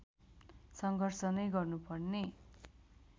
सङ्घर्ष नै गर्नुपर्ने